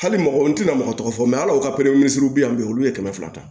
Hali mɔgɔ n tɛna mɔgɔ tɔgɔ tɔgɔ fɔ ala ko ka olu ye kɛmɛ fila ta